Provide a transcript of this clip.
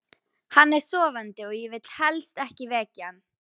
Hann er sofandi og ég vil helst ekki vekja hann.